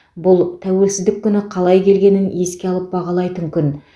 бұл тәуелсіздік күні қалай келгенін еске алып бағалайтын күн